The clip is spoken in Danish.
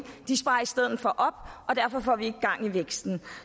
de sparer i stedet for op og derfor får vi ikke gang i væksten